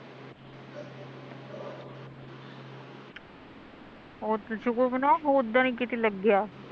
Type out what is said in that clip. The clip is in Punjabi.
ਉਹ ਤਾਂ ਸੁਕਰ ਮਨਾ ਹੋਰ ਦਾ ਨੀ ਕਿਤੇ ਲੱਗਿਆ